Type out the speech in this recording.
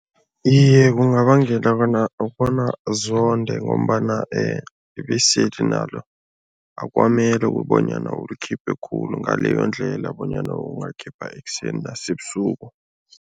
Iye, kungabangela bona bona zonde ngombana ibiseli nalo akukamele bonyana ulikhiphe khulu ngaleyo ndlela bonyana ungakhipha ekuseni nasebusuku.